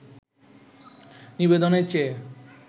নিবেদনের চেয়ে